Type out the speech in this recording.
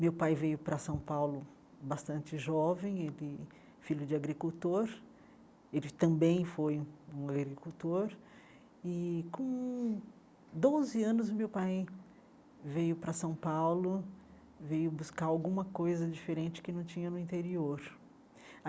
Meu pai veio para São Paulo bastante jovem, ele filho de agricultor, ele também foi um agricultor, e com doze anos o meu pai veio para São Paulo, veio buscar alquma coisa diferente que não tinha no interior.